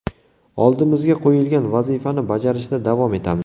Oldimizga qo‘yilgan vazifani bajarishda davom etamiz.